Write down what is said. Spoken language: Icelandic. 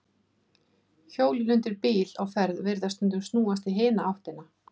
Hjólin undir bíl á ferð virðast stundum snúast í hina áttina.